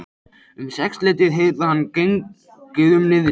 Um sexleytið heyrði hann gengið um niðri.